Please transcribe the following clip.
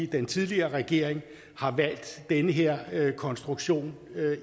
den tidligere regering har valgt den her konstruktion